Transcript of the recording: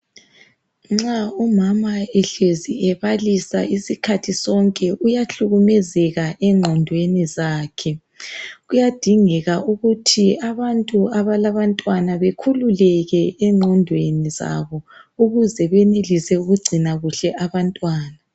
Nxa umama ehlez ebalisa isikhathi sonke uyahlukumezeka engqondweni zakhe kuyadingeka ukut abantu abalabantwana bekhululeke engqondweni zabo ukuze benelise ukungcina kahle abantwana